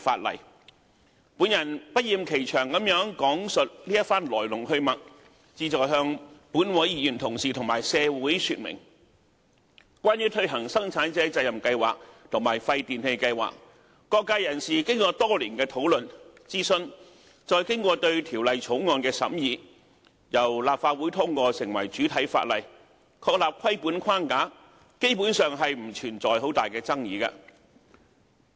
我不厭其詳地講述這番來龍去脈，旨在向立法會議員同事和社會說明，關於推行生產者責任計劃和廢電器計劃，各界人士經過多年的討論、諮詢，並對《條例草案》作出審議，由立法會通過成為主體法例，確立規管框架，基本上不存在很大的爭議。